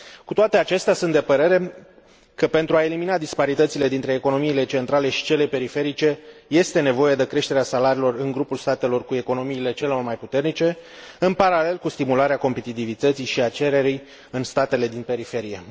Cu toate acestea, sunt de părere, că pentru a elimina disparitățile dintre economiile centrale și cele periferice, este nevoie de creșterea salariilor în grupul statelor cu economiile cele mai puternice, în paralel cu stimularea competitivității și a cererii în statele din periferie.